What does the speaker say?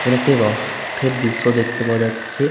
এখানে একটি রস থের দৃশ্য দেখতে পাওয়া যাচ্ছে।